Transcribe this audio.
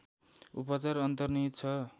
उपचार अन्तर्निहित छ